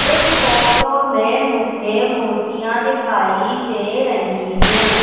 इस फोटो में मुझे मूर्तियां दिखाई दे रही हैं।